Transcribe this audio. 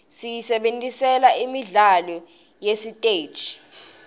siyisebentisela imidlalo yasesiteji